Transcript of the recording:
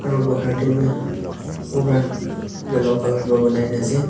aru bahar tae bi pura yellow colour pra banai na ase.